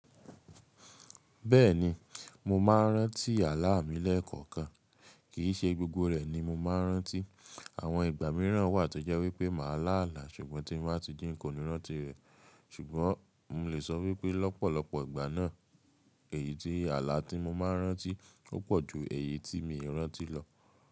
Bẹ́ẹ̀ni, mo máa ń rántí àlá mi lẹ́ẹ̀kọ̀kan. Kìí ṣe gbogbo rẹ̀ ni mo máa ń rántí. Àwọn ìgbà mìíràn wà tó jẹ́ wípé màá lá àlá ṣùgbọ́n tí mo bá ti jí n kò ní rántí rẹ̀. Ṣùgbọ́n mo lè sọ wípé lọ́pọ̀lọpọ̀ ìgbà náà, èyí tí àlá tí mo máa ń rántí o pọ̀ ju èyí tí mi ò rántí lọ.